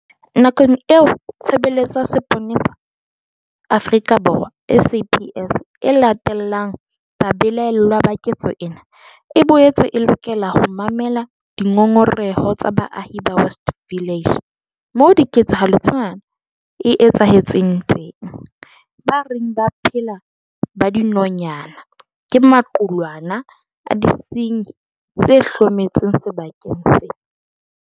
Nakong eo Tshebeletso ya Mapolesa Afrika Borwa, SAPS, e latellang babelaellwa ba ketso ena, e boetse e lokela ho mamela dingongoreho tsa baahi ba West Village, moo ketsahalo ena e etsahetseng teng, ba reng ba phela ba dinonyana ke maqulwana a disenyi tse hlometseng sebakeng seo.